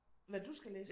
Hvad du skal læse?